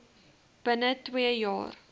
binne twee jaar